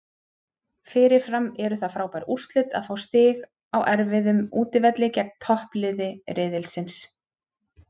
Fyrirfram eru það frábær úrslit að fá stig á erfiðum útivelli gegn toppliði riðilsins.